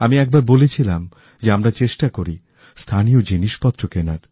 আমি একবারবলেছিলাম যে আমরা চেষ্টা করি স্থানীয় জিনিসপত্র কিনি